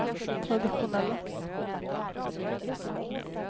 traditionella